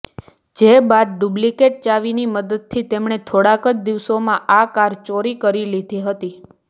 જે બાદ ડુપ્લિકેટ ચાવીની મદદથી તેમણે થોડાક જ દિવસોમાં આ કાર ચોરી કરી લીધી હતી